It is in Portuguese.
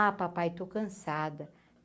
Ah, papai, estou cansada.